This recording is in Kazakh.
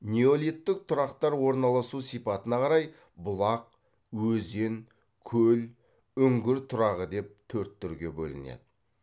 неолиттік тұрақтар орналасу сипатына қарай бұлақ өзен көл үңгір тұрағы деп төрт түрге бөлінеді